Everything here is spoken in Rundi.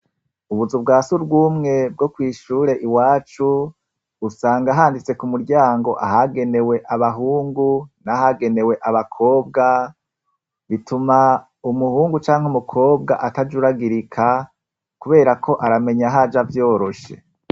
Ubuzu bwa surwumwe bwo kw' ishure iwacu, usanga handitse ku muryango ahagenewe abahungu n' ahagenewe abakobwa , bituma muhungu canke umukobwa atajuragirika, kubera ko aramenya ahaja vyoroshe.